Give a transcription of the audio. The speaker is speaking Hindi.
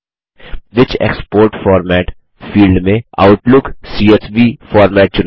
व्हिच एक्सपोर्ट फॉर्मेट फील्ड मेंOutlook सीएसवी फॉर्मेट चुनें